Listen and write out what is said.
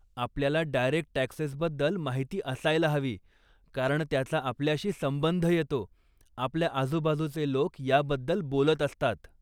आपल्याला डायरेक्ट टॅक्सेसबद्दल माहिती असायला हवी, कारण त्याचा आपल्याशी संबंध येतो, आपल्या आजुबाजुचे लोक याबद्दल बोलत असतात.